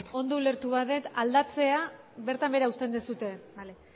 ondo ulertu badut aldatzea bertan behera uzten duzue bale